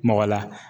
Mɔgɔ la